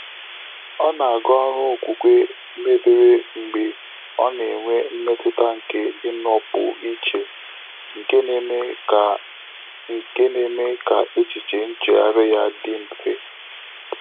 Ọ́ nà-àgá ọ́rụ́ ókwúkwé mébèrè mgbè ọ́ nà-ènwé mmétụ́tà nké ị́nọ́pụ́ íché, nké nà-émé kà nké nà-émé kà échíché nchéghárị́ yá dị́ mfé.